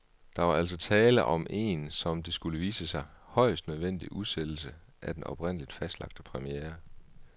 Der var altså tale om en, som det skulle vise sig, højst nødvendig udsættelse af den oprindeligt fastlagte premiere.